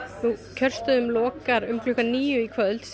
kjörstöðum verður lokað klukkan níu í kvöld